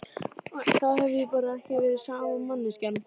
Þá hef ég bara ekki verið sama manneskjan.